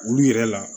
Olu yɛrɛ la